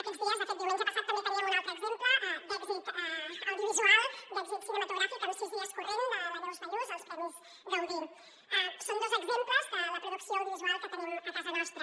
aquests dies de fet diumenge passat també teníem un altre exemple d’èxit audiovisual d’èxit cinematogràfic amb sis dies correntssón dos exemples de la producció audiovisual que tenim a casa nostra